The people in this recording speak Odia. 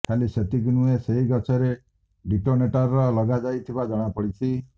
ଖାଲି ସେତିକି ନୁହେଁ ସେହି ଗଛରେ ଡିଟୋନେଟର ଲଗାଯାଇଥିବା ଯଣାପଡିଛି